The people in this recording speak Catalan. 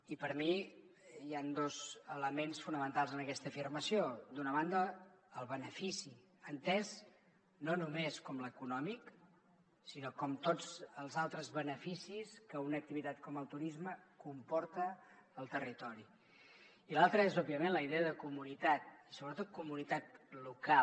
i per a mi hi han dos elements fonamentals en aquesta afirmació d’una banda el benefici entès no només com l’econòmic sinó com tots els altres beneficis que una activitat com el turisme comporta al territori i l’altre és òbviament la idea de comunitat i sobretot comunitat local